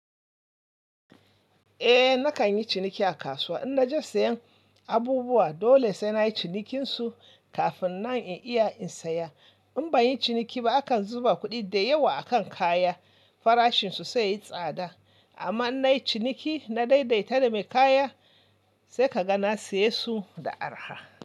Eh nakan yi ciniki a kasuwa, in na je sayen abubuwa dole sai na yi cinikin su kafin nan in iya in saya. In ban yi ciniki ba akan zuba kuɗi da yawa a kan kaya, farashin su sai ya yi tsada. Amma in na yi ciniki, na daidaita da mai kaya sai ka ga na siye su da araha.